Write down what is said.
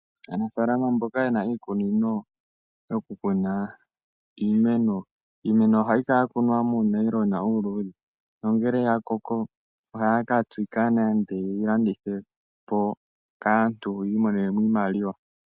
Aanafaalama mboka ye na iikunino yoku kuna iimeno, iimeno ohayi kala ya kunwa muunayilona uuluudhe. Nongele ya koko ohaya ka tsika nande ye yi landithe po kaantu yi imonene mo iimaliwa.